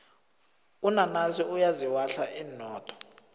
unanasi uyaziwahla inodo